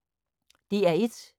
DR1